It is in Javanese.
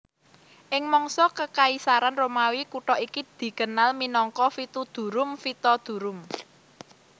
Ing mangsa Kekaisaran Romawi kutha iki dikenal minangka Vitudurum Vitodurum